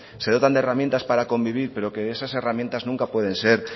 se dotan de herramientas para convivir pero que esas herramientas nunca pueden ser